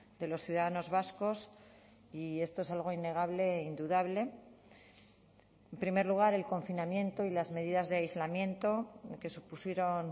de los ciudadanos vascos y esto es algo innegable e indudable en primer lugar el confinamiento y las medidas de aislamiento que supusieron